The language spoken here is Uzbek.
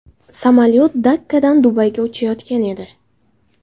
Samolyot Dakkadan Dubayga uchayotgan edi.